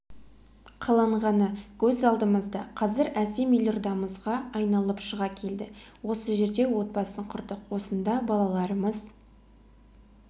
қаланғаны көз алдымызда қазір әсем елордамызға айналып шыға келді осы жерде отбасын құрдық осында балаларымыз